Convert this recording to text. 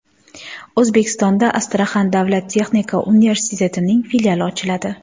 O‘zbekistonda Astraxan davlat texnika universitetining filiali ochiladi.